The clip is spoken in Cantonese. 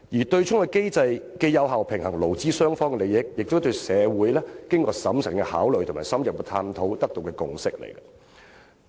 對沖機制既有效平衡勞資雙方的利益，亦是社會經過審慎考慮和深入探討而取得的共識。